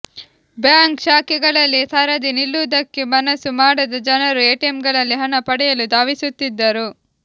bank ಶಾಖೆಗಳಲ್ಲಿ ಸರದಿ ನಿಲ್ಲುವುದಕ್ಕೆ ಮನಸ್ಸು ಮಾಡದ ಜನರು ಎಟಿಎಂಗಳಲ್ಲಿ ಹಣ ಪಡೆಯಲು ಧಾವಿಸುತ್ತಿದ್ದರು